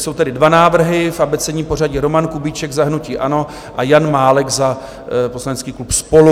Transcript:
Jsou tedy dva návrhy, v abecedním pořadí: Roman Kubíček za hnutí ANO a Jan Málek za poslanecký klub SPOLU.